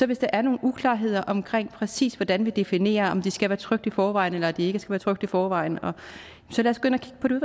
hvis der er nogle uklarheder omkring præcis hvordan vi definerer om de skal være trykt i forvejen eller de ikke skal være trykt i forvejen så lad